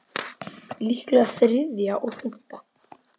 Líklega þriðja og fimmta